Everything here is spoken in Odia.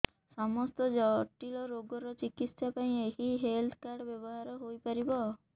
ସମସ୍ତ ଜଟିଳ ରୋଗର ଚିକିତ୍ସା ପାଇଁ ଏହି ହେଲ୍ଥ କାର୍ଡ ବ୍ୟବହାର ହୋଇପାରିବ